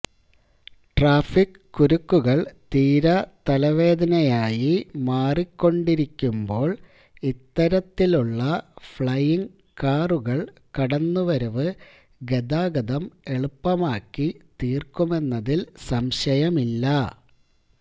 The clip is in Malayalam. ട്രാഫിക്ക് കുരുക്കുകൾ തീരാ തലവേദനയായി മാറിക്കൊണ്ടിരിക്കുമ്പോൾ ഇത്തരത്തിലുള്ള ഫ്ലയിംഗ് കാറുകൾ കടന്നുവരവ് ഗതാഗതം എളുപ്പമാക്കി തീർക്കുമെന്നതിൽ സംശയമില്ല